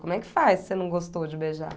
Como é que faz se você não gostou de beijar?